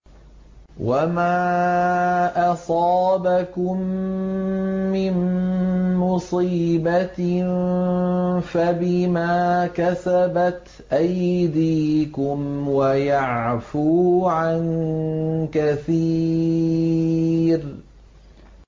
وَمَا أَصَابَكُم مِّن مُّصِيبَةٍ فَبِمَا كَسَبَتْ أَيْدِيكُمْ وَيَعْفُو عَن كَثِيرٍ